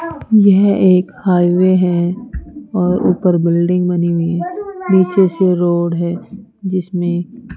यह एक हाईवे है और ऊपर बिल्डिंग बनी हुई नीचे से रोड है जिसमें --